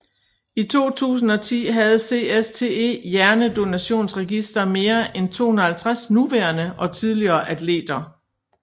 I 2010 havde CSTE Hjernedonationsregister mere end 250 nuværende og tidligere atleter